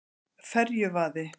Ferjuvaði